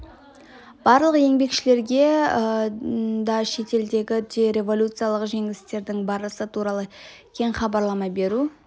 барлық еңбекшілерге да шетелдегі де революциялық жеңістердің барысы туралы кең хабарлама беру